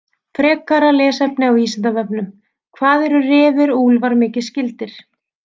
Frekara lesefni á Vísindavefnum: Hvað eru refir og úlfar mikið skyldir?